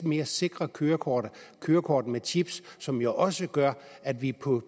mere sikre kørekort kørekort med chip som jo også gør at vi på